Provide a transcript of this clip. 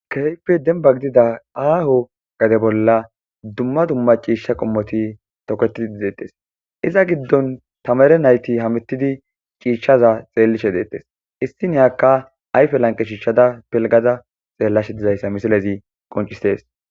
Kehipe demba gidida aho gade bola duma duma c'isha qomoti toketidi detes iza gidon tamare nayti hametidi c'ishaza xelishe detes issiniyaka ayfe lanqe shishada pilgada xelashe dizaysa missilezi qonc'ses.